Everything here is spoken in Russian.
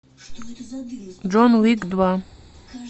джон уик два